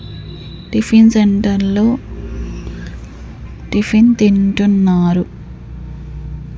Tiffin సెంటర్లో tiffin తింటున్నారు.